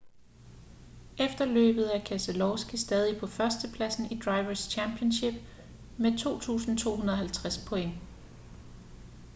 efter løbet er keselowski stadig på førstepladsen i drivers' championship med 2.250 point